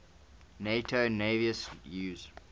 nato navies use